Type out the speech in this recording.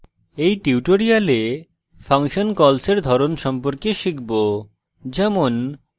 in tutorial function calls in ধরণ সম্পর্কে শিখব যেমন